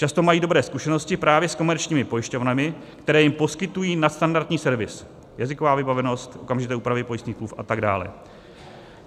Často mají dobré zkušenosti právě s komerčními pojišťovnami, které jim poskytují nadstandardní servis - jazyková vybavenost, okamžité úpravy pojistných smluv a tak dále.